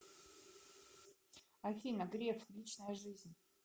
афина греф личная жизнь